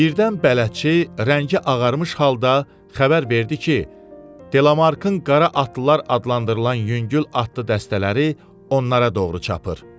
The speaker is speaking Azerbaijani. Birdən bələdçi rəngi ağarmış halda xəbər verdi ki, Delamarkın qara atlılar adlandırılan yüngül atlı dəstələri onlara doğru çapır.